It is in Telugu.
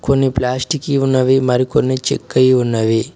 కొన్ని ప్లాస్టిక్ ఉన్నవి మరికొన్ని చెక్కాయి ఉన్నవి.